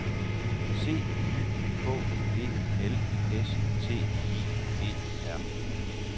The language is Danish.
C Y K E L S T I E R